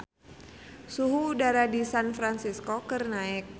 Suhu udara di San Fransisco keur naek